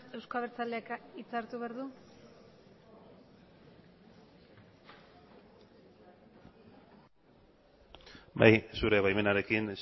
euzko abertzaleak hitza hartu behar du bai zure baimenarekin